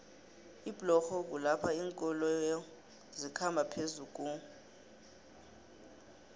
iblorho kulapho linkoloyo zikhamba phezukuomanei